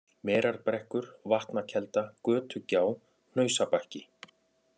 Merarbrekkur, Vatnakelda, Götugjá, Hnausabakki